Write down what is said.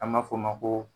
An ma f'o ma ko